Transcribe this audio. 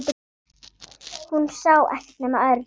Hún sá ekkert nema Örn.